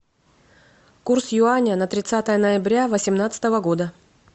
курс юаня на тридцатое ноября восемнадцатого года